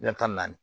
tan ni naani